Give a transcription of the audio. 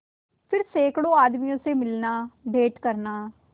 फिर सैकड़ों आदमियों से मिलनाभेंट करना